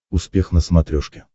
успех на смотрешке